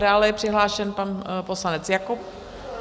Dále je přihlášen pan poslanec Jakob.